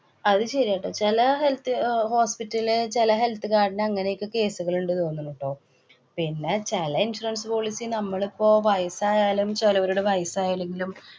അത് ശരിയാ ട്ടോ. ചെല health അഹ് hospital ലെ ചെല health card ന് അങ്ങനെയൊക്കെ കേസുകള്‍ ഉണ്ട് തോന്നണു ട്ടോ. പിന്നെ ചെല insurance policy നമ്മളിപ്പോ വയസായാലും, ചെലവരുടെ വയസായില്ലെങ്കിലും.